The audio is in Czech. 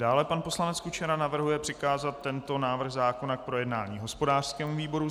Dále pan poslanec Kučera navrhuje přikázat tento návrh zákona k projednání hospodářskému výboru.